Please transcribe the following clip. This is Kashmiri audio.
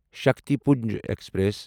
شکتِپنج ایکسپریس